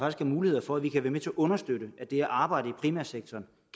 er mulighed for at vi kan være med til at understøtte at det arbejde i primærsektoren